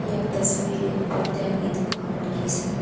यह तस्वीर एक पर्दाया की दुकान की स